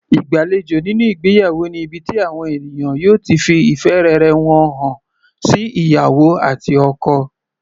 Ìgbàlejò nínú ìgbéyàwó ni ibi tí àwọn ènìyàn yóò ti fi ìfẹ́ rere wọn hàn sí ìyàwó àti ọkọ.